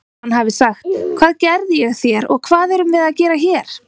Hann hafi sagt: Hvað gerði ég þér og hvað erum við að gera hér?